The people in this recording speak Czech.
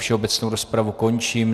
Všeobecnou rozpravu končím.